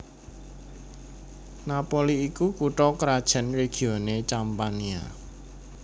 Napoli iku kutha krajan regione Campania